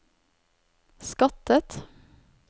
skattet